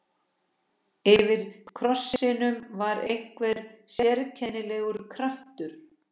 Yfir krossinum var einhver sérkennilegur kraftur.